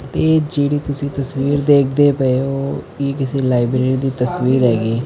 ਏਹ ਜਿਹੜੀ ਤੁਸੀਂ ਤਸਵੀਰ ਦੇਖਦੇ ਪਏ ਹੋ ਇਹ ਕਿਸੀ ਲਾਈਬ੍ਰੇਰੀ ਦੀ ਤਸਵੀਰ ਹੈਗੀ।